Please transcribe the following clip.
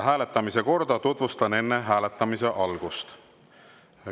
Hääletamise korda tutvustan enne hääletamise algust.